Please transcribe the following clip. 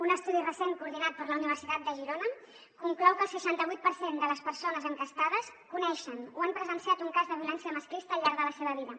un estudi recent coordinat per la universitat de girona conclou que el seixanta vuit per cent de les persones enquestades coneixen o han presenciat un cas de violència masclista al llarg de la seva vida